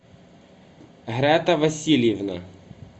грата васильевна